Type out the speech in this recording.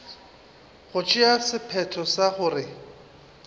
go tšea sephetho sa gore